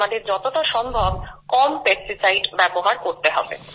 তাই আমাদের যতটা সম্ভব কম পেস্টিসাইড ব্যবহার করতে হবে